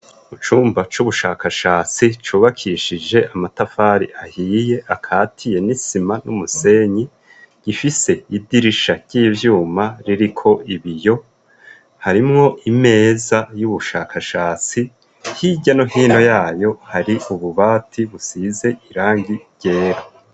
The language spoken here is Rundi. Mu cumba c'ubushakashatsi cubakishije amatafari ahiye, akatiye nisima n'umusenyi, gifise idirisha ry'ivyuma ririko ibiyo, harimwo imeza y'ubushakashatsi hirya no hino yayo hari ububati busize irangi ryera.